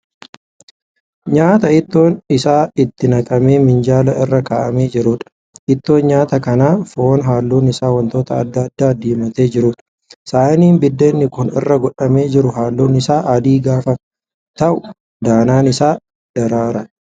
Nyaata ittoon isaa itti naqamee minjaala irra ka'amee jiruudha. Ittoon nyaata kanaa foon halluun isaa wantoota adda addaan diimatee jiruudha. Saaniin biddeenni kun irra godhamee jiru halluun isaa adii gaafa ta'u danaan isaa diriiraadha.